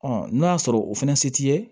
n'o y'a sɔrɔ o fɛnɛ se t'i ye